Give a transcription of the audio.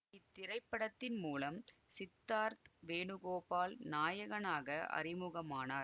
இத்திரைப்படத்தின் மூலம் சித்தார்த் வேணுகோபால் நாயகனாக அறிமுகமானார்